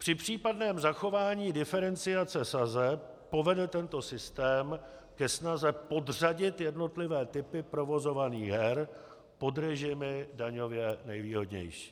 Při případném zachování diferenciace sazeb povede tento systém ke snaze podřadit jednotlivé typy provozovaných her pod režimy daňově nejvýhodnější.